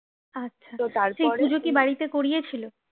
আচ্ছা কি বাড়িতে করিয়েছিল?